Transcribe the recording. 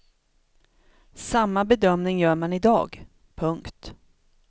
Samma bedömning gör man i dag. punkt